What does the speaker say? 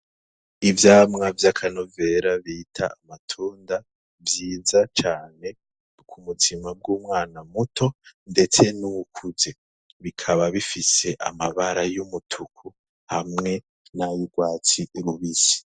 Ivyamwa vy'akanovera bita amatunda vyiza cane ku buzima bw'umwana muto ndetse n'uwukuze, bikaba bifise amabara y'umutuku hamwe n'ayurwatsi rubisi.